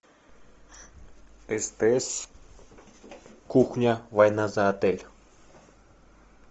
стс кухня война за отель